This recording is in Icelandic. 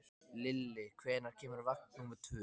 Lilli, hvenær kemur vagn númer tvö?